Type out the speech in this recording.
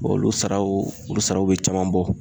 olu saraw olu saraw be caman bɔ.